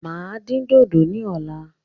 Máa dín dodo ní ọ̀la